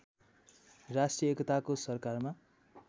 राष्ट्रिय एकताको सरकारमा